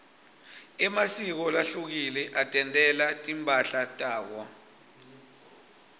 emasiko lahlukile atentela timphahla tawo